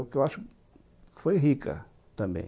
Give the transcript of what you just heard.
Porque eu acho que foi rica também.